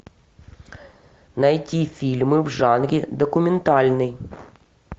найти фильмы в жанре документальный